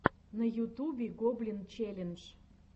на ютубе гоблин челлендж